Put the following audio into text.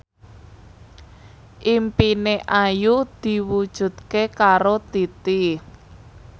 impine Ayu diwujudke karo Titi